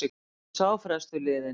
Nú er sá frestur liðinn.